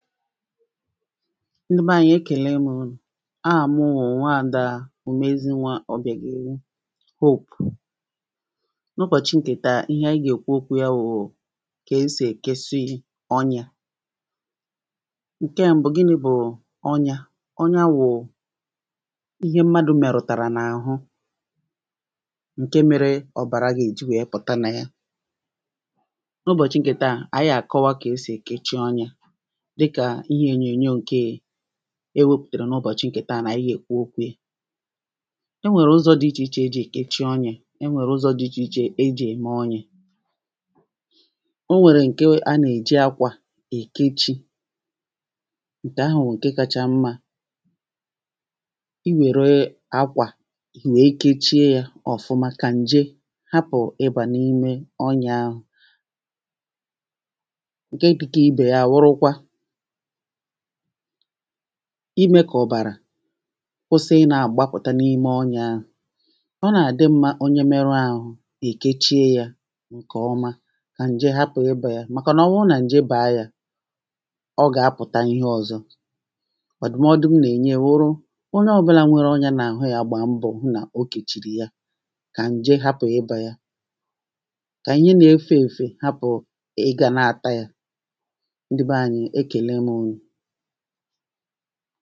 ndi beé ȧnyi̇ e kèlem unù, ahà mu wù nwa àda ùmezinwȧ ọ̀bìàgèli Hope n’ụbọ̀chị̇ ǹkè taa ihe anyi gà èkwu okwu̇ yȧ wù kà esì e kesi ọnyȧ. Nkẹ mbu gini̇ bù ọnyȧ?, ọnya wù ihe mmadu̇ mẹ̀rùtàrà nà àhu ǹkẹ mėrė ọ̀bàra gà è ji wèe pùta nà ya, n’ụbọ̀chị̇ ǹkè taà ànyi à kọwa kà esì e kechi ọnyȧ e wepùtèrè n’ụbọ̀chị ǹkè taa nà ihe èkwu okwu̇ e, e nwèrè ụzọ̇ dị ichè ichè e jì è kechi ọnya, ẹ nwèrè ụzọ̇ dị ichè ichè e jì ème ọnya, o nwèrè ǹke a nèè ji akwà è kechi, ǹkè ahùwù ǹke kacha mmȧ, i wère akwà i wee kechie yȧ ọ̀fuma kà ǹje hapù ị bà n’ime ọnyaȧ. nke dika ibe ya wurukwa imė kà ọ̀bàrà kwụsị ị nà àgbapụ̀ta n’ime ọnyȧ ȧhụ̇. ọ nàdị̀ mmȧ onye mėrė ȧhụ̇ èkechie yȧ ǹkè ọma kà ǹjè hapụ̀ ịbȧ yȧ màkà nà ọ wụ nà ǹjè bàa yȧ, ọ gà apụ̀ta ihe ọ̇zọ̇ ndụ̀modu m nà ènye wụrụ onye ọbụla nwere onye nà àhụ yȧ gbàa mbọ̀ hụ nà o kèchìrì ya kà ǹjè hapụ̀ ịbȧ ya, kà ihe nȧ efe èfè hapụ̀ ị gà naàta yȧ. Ndi baanyi ekele mu unuu.